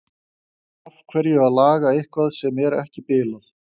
Af hverju að laga eitthvað sem er ekki bilað?